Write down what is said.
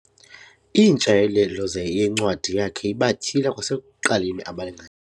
IIntshayelelo yencwadi yakhe ibatyhila kwasekuqaleni abalinga.